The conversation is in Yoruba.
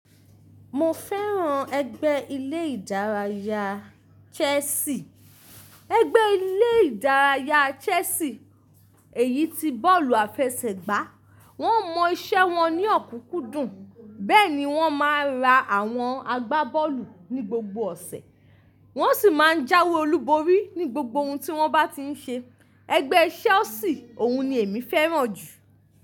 Mo fẹ́ràn ẹgbẹ́ ilé ìdárayá Chelsea. Ẹgbẹ́ ilé ìdárayá Chelsea èyí ti bọ́ọ̀lù àfẹsẹ̀gbá. Wọ́n mọ iṣẹ́ wọn ní ọ̀kúnkúndùn, bẹ́ẹ̀ ni wọ́n máa ń ra àwọn agbábọ́ọ̀lù ní gbogbo ọ̀sẹ̀. Wọ́n sì máa ń jáwé olúborí ní gbogbo ohun tí wọ́n bá ti ń ṣe. Ẹgbẹ́ Chelsea òun ni èmi fẹ́ràn jù.